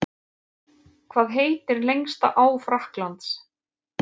Hvað heitir lengsta á Frakklands?